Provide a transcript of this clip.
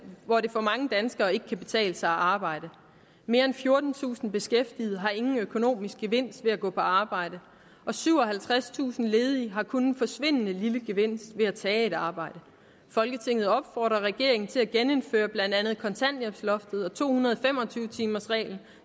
hvor det for mange danskere ikke kan betale sig at arbejde mere end fjortentusind beskæftigede har ingen økonomisk gevinst ved at gå på arbejde og syvoghalvtredstusind ledige har kun en forsvindende lille gevinst ved at tage et arbejde folketinget opfordrer regeringen til at genindføre blandt andet kontanthjælpsloftet og to hundrede og fem og tyve timersreglen